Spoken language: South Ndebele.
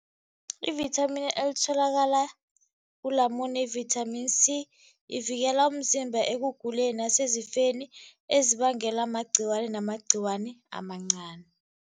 Ivithamini elitholakala ulamune yi-vitamin C, ivikela umzimba ekuguleni nasezifeni ezibangela amagciwani namagciwani amancani.